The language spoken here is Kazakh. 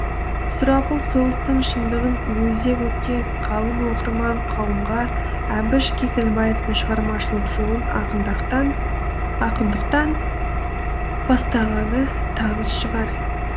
сұрапыл соғыстың шындығын өзек еткен қалың оқырман қауымға әбіш кекілбаевтың шығармашылық жолын ақындықтан бастағаны таныс шығар